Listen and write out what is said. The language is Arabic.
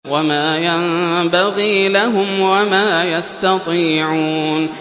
وَمَا يَنبَغِي لَهُمْ وَمَا يَسْتَطِيعُونَ